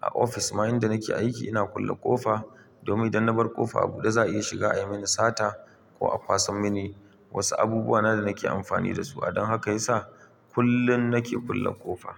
a ofis ma inda nike aiki ina kulle ƙofa domin idan na bar ƙofa a buɗe za a iya shiga ayi mani sata ko a kwasan mini wasu abubuwa na da nake amfani dasu. Dan haka yasa kullum nake kulle ƙofa.